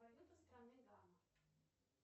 валюта страны гана